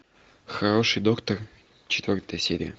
хороший доктор четвертая серия